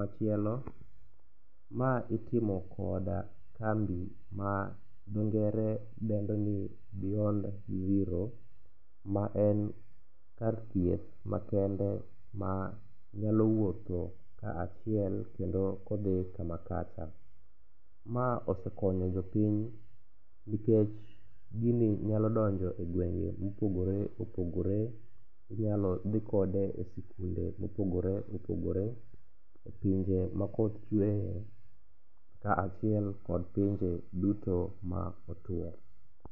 Machielo, ma itimo kod kambi ma dho ngere dendo ni beyond zero ma en kar thieth makende ma nyalo wuotho kaachiel kendo kodhi kama kacha. Ma osekonyo jopiny nikech gini nyalo donjo e gwenge mopogore opogore, inyalo dhi kode e sikunde mopogore opogore, e pinje makoth chweye kaachiel kod pinje duto ma otwo.